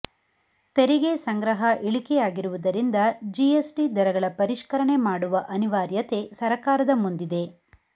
ತೆರಿಗೆ ಸಂಗ್ರಹ ಇಳಿಕೆಯಾಗಿರುವುದರಿಂದ ಜಿಎಸ್ಟಿ ದರಗಳ ಪರಿಷ್ಕರಣೆ ಮಾಡುವ ಅನಿವಾರ್ಯತೆ ಸರಕಾರದ ಮುಂದಿದೆ